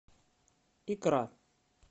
икра